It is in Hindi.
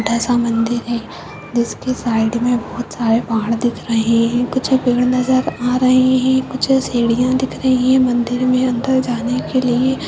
छोटा सा मंदिर है जिसके साइड मे बहोत सारे पहाड़ दिख रहे हैं कुछ पेड़ नजर आ रहे हैं कुछ सीढ़ियां दिख रही हैं मंदिर मे अंदर जाने के लिए।